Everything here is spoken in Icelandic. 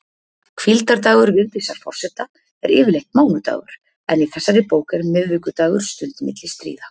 Hvíldardagur Vigdísar forseta er yfirleitt mánudagur, en í þessari bók er miðvikudagur stund milli stríða.